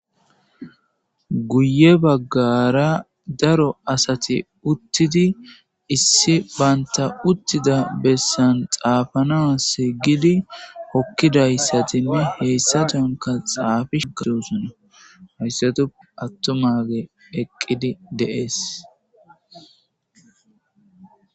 guye baggara daro asati uttidi issi baynta uttida bessan xaafana seygidi hokkidayssatinne heyssatonka xaafishukidosona hayssatu attomage eqqidi deees